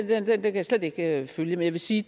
den kan jeg slet ikke følge jeg vil sige